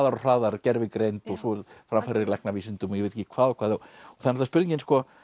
og hraðar gervigreind og svo framfarir í læknavísindum og ég veit ekki hvað það er spurningin